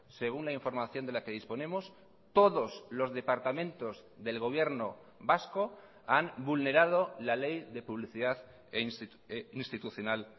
según la información de la que disponemos todos los departamentos del gobierno vasco han vulnerado la ley de publicidad institucional